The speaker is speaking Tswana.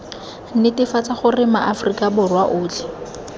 netefatsa gore maaforika borwa otlhe